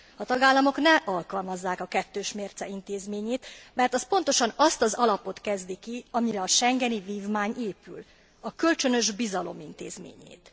A tagállamok ne alkalmazzák a kettős mérce intézményét, mert az pontosan azt az alapot kezdi ki, amire a schengeni vívmány épül a kölcsönös bizalom intézményét.